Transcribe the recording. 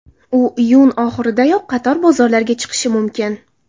U iyun oxiridayoq qator bozorlarga chiqishi mumkin.